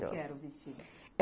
que era o vestido?